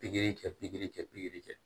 Pikiri kɛ pikiri kɛ pikiri kɛ